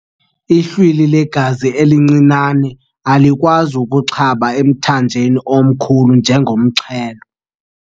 Ihlwili legazi elincinane alikwazi ukuxaba emthanjeni omkhulu njengomxhelo.